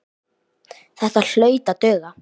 Þetta hlaut að duga.